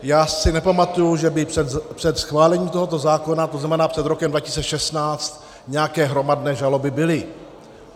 Já si nepamatuji, že by před schválením tohoto zákona, to znamená před rokem 2016, nějaké hromadné žaloby byly.